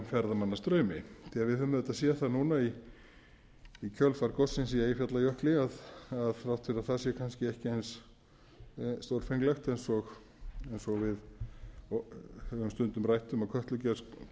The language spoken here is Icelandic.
ferðamannastraumi því við höfum auðvitað sé það núna í kjölfar gossins í eyjafjallajökli að þrátt fyrir að það sé kannski ekki eins stórfenglegt eins og við höfum stundum rætt um að kötlugos